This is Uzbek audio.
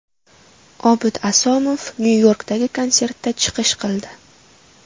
Obid Asomov Nyu-Yorkdagi konsertda chiqish qildi.